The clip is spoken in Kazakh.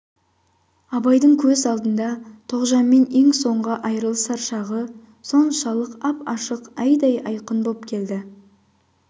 абайдың көз алдында тоғжанмен ең соңғы айрылысар шағы соншалық ап-ашық айдай айқын боп келді